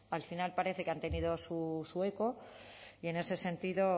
al final parece que han tenido su eco y en ese sentido